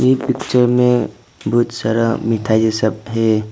ये पिक्चर में बहुत सारा मिठाई सब है।